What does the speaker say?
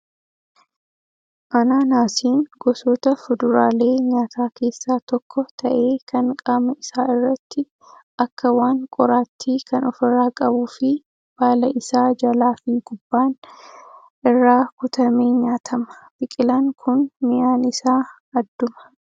Anaanaasiin gosoota fuduraalee nyaataa keessaa tokko ta'ee kan qaama isaa irratti akka waan qoraattii kan ofirraa qabuu fi baala isaa jalaa fi gubbaan irraa kutamee nyaatama. Biqilaan kun mi'aan isaa adduma.